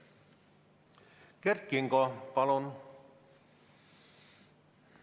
Kert Kingo, palun!